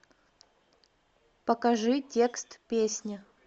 покажи текст песни